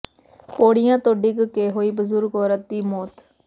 ਪੌੜੀਆਂ ਤੋਂ ਡਿੱਗ ਕੇ ਹੋਈ ਬਜ਼ੁਰਗ ਔਰਤ ਦੀ ਮੌਤ